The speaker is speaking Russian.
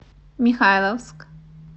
михайловск